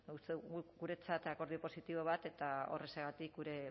uste dugu guretzat akordio positibo bat eta horrexegatik gure